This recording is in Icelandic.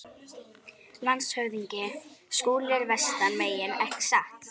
LANDSHÖFÐINGI: Skúli er vestan megin, ekki satt?